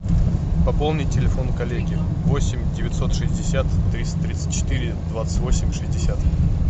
пополнить телефон коллеги восемь девятьсот шестьдесят триста тридцать четыре двадцать восемь шестьдесят